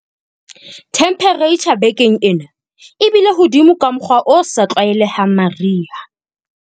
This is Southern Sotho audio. Themeperetjha bekeng ena e bile hodimo ka mokgwa o sa tlwaelehang mariha.